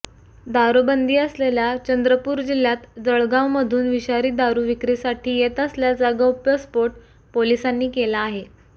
दारुबंदी असलेल्या चंद्रपूर जिल्ह्यात जळगावमधून विषारी दारू विक्रीसाठी येत असल्याचा गौप्यस्फोट पोलिसांनी केला आहे